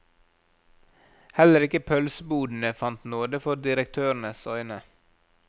Heller ikke pølsebodene fant nåde for direktørenes øyne.